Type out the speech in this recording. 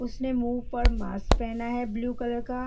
उसने मुह्ह पर मास्क पहना है ब्लू कलर का।